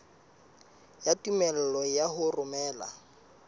ya tumello ya ho romela